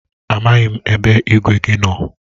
A maghị m ebe igwe gị nọ.